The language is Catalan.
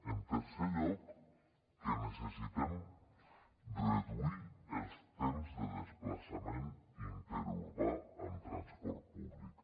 en tercer lloc que necessitem reduir els temps de desplaçament interurbà amb transport públic